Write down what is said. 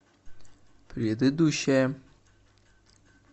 предыдущая